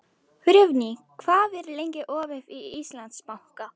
Friðný, hvað er lengi opið í Íslandsbanka?